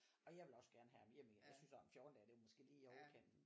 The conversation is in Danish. Og jeg ville også gerne have ham hjem igen jeg synes også 14 dage det er måske lige i overkanten